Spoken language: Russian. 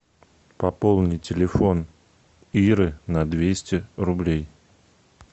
пополни телефон иры на двести рублей